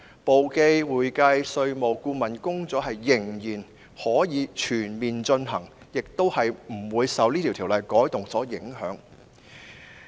簿記、會計、稅務和顧問工作依然可以全面進行，亦不會受《條例草案》的修訂影響。